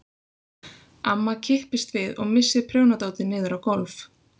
Amma kippist við og missir prjónadótið niður á gólf.